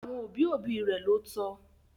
Àwọn òbí òbí rẹ̀ ló tọ